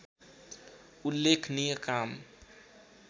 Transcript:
उल्लेखनीय काम